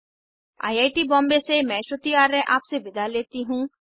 I I T Bombay से मैं श्रुति आर्य आपसे विदा लेती हूँ